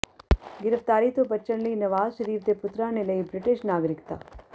ਗ੍ਰਿਫ਼ਤਾਰੀ ਤੋਂ ਬਚਣ ਲਈ ਨਵਾਜ਼ ਸ਼ਰੀਫ ਦੇ ਪੁੱਤਰਾਂ ਨੇ ਲਈ ਬ੍ਰਿਟਿਸ਼ ਨਾਗਰਿਕਤਾ